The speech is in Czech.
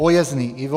Pojezný Ivo: